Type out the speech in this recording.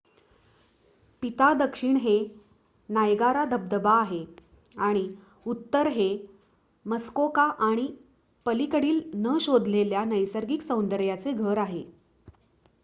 पिता दक्षिण हे नायगारा धबधबा आहे आणि उत्तर हे मस्कोका आणि पलीकडील न शोधलेल्या नैसर्गिक सौंदर्याचे घर आहे